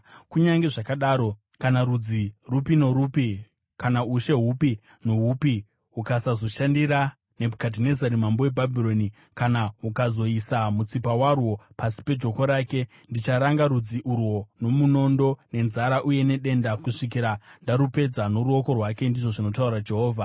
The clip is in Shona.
“‘ “Kunyange zvakadaro, kana rudzi rupi norupi kana ushe hupi nohupi hukasazoshandira Nebhukadhinezari mambo weBhabhironi kana hukazoisa mutsipa warwo pasi pejoko rake, ndicharanga rudzi urwo nomunondo, nenzara uye nedenda, kusvikira ndarupedza noruoko rwake, ndizvo zvinotaura Jehovha.